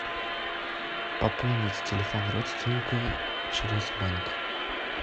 пополнить телефон родственника через банк